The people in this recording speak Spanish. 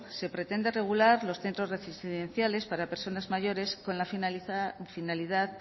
se pretende regular los centros residenciales para personas mayores con la finalidad